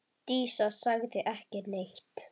Dísa sagði ekki neitt.